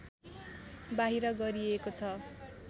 बाहिर गरिएको छ